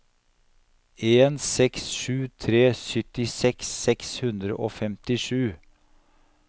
en seks sju tre syttiseks seks hundre og femtisju